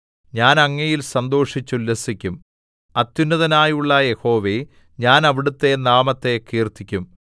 ഞാൻ അങ്ങയിൽ സന്തോഷിച്ചുല്ലസിക്കും അത്യുന്നതനായുള്ള യഹോവേ ഞാൻ അവിടുത്തെ നാമത്തെ കീർത്തിക്കും